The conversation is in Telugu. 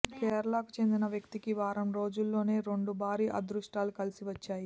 కేరళకు చెందిన వ్యక్తికి వారం రోజుల్లోనే రెండు భారీ అదృష్టాలు కలిసివచ్చాయి